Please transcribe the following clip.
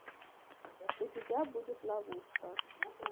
у тебя будет ловушка